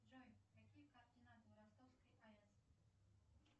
джой какие координаты у ростовской аэс